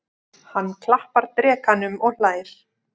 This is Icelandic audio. Hann klappar drekanum og hlær.